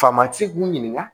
Faama ci k'u ɲininka